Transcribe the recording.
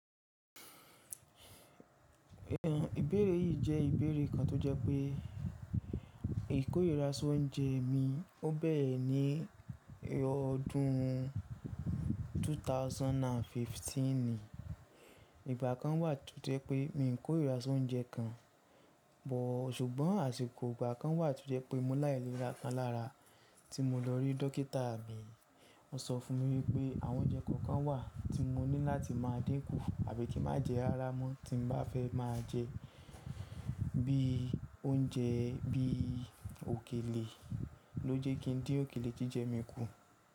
Ìbéèrè yìí jẹ́ ìbéèrè kan tó jẹ́ pé ìkóira sóúnjẹ mi ó bẹ̀rẹ̀ ní ọdún ẹgbẹ̀rún méjì ó lé ẹ̀ẹ́dógún. Ìgbà kan wà tó jẹ́ pé mi kò ríra sóúnjẹ kan, bọ̀ ṣùgbọ́n àsìkò ìgbà kan wà tó jẹ́ pé mo láìléra kan lára tí mo lọ rí dókítà mi. Ó sọ fún mi wípé àwọn oúnjẹ kọ̀ọ̀kan wà tí mo ní láti máa dínkù àbí kí má jẹ ara mọ́ tí n bá fẹ́ máa jẹ bí i oúnjẹ bí i òkèlè, lójú kí n dín òkèlè jíjẹ mi kù.